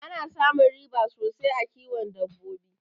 Ana samun riba sosai a kiwon dabbabo